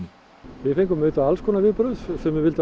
við fengum auðvitað alls konar viðbrögð sumir vildu